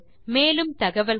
மேலும் தகவல்களுக்கு